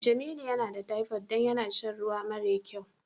Jamilu yana da typhoid don yana sha ruwa mare kyau.